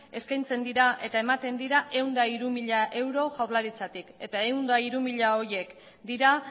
eskaintzen dira eta ematen dira ehun eta hiru mila euro jaurlaritzatik eta ciento tres mil horiek dira